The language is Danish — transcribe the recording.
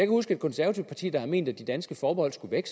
huske et konservativt parti der har ment at de danske forbehold skulle væk